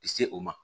Se o ma